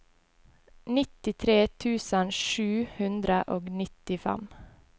nittitre tusen sju hundre og nittifem